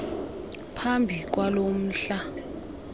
phambi kwalo mhla